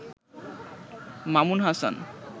Mamun Hasan